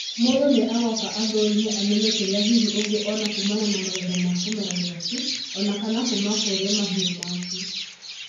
mũndũ nĩ agũka a thũrĩme amenye kĩrĩa hǐhĩ ungĩ ona kumana na magetha ma kũmera gĩaku onakana kuuma kũrĩ mahĩũ maku.